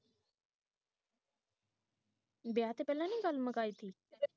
ਵਿਆਹ ਤੋਂ ਪਹਿਲਾਂ ਹੀ ਗੱਲ ਮੁਕਾਈ ਸੀ